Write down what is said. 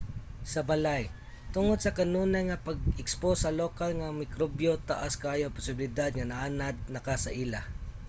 sa balay tungod sa kanunay nga pagka-ekspos sa lokal nga mga mikrobyo taas kaayo ang posibilidad nga naanad naka sa ila